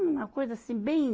Foi uma coisa assim, bem...